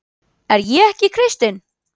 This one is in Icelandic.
Er ég ekki kristinn?